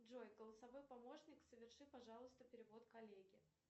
джой голосовой помощник соверши пожалуйста перевод коллеге